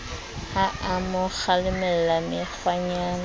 ha a mo kgalemella mekgwanyana